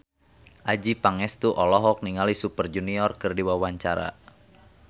Adjie Pangestu olohok ningali Super Junior keur diwawancara